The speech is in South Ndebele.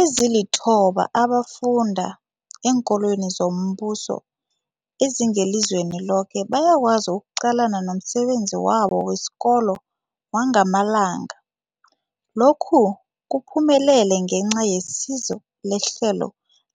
Ezilithoba abafunda eenkolweni zombuso ezingelizweni loke bayakwazi ukuqalana nomsebenzi wabo wesikolo wangamalanga. Lokhu kuphumelele ngenca yesizo lehlelo